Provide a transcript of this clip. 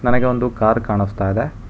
ನನಗೆ ಒಂದು ಕಾರ್ ಕಾಣಿಸ್ತಾ ಇದೆ.